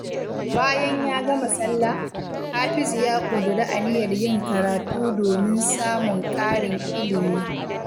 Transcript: Bayan ya gama sallah, Hafizu ya ƙudiri aniyar yin karatu domin samun ƙarin ilimi.